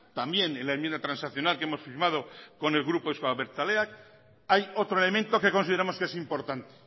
también en la enmienda transaccional que hemos firmado con el grupo euzko abertzaleak hay otro elemento que consideramos que es importante